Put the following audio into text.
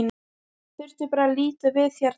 Þurfti bara að líta við hérna.